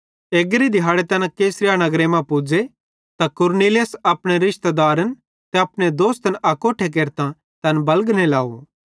एग्री दिहाड़े तैना कैसरिया नगरे मां पुज़े कुरनेलियुस अपने रिशतेदारन ते अपने दोस्तन अकोट्ठे केरतां तैन बलगने लाव